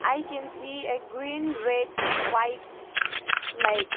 I can see a green red white flag.